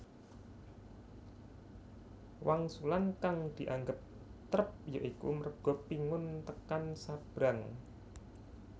Wangsulan kang dianggep trep ya iku merga pingun tekan sabrang